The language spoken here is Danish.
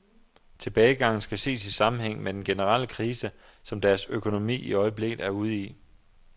Tilbagegangen skal ses i sammenhæng med den generelle krise, som deres økonomi i øjeblikket er ude i.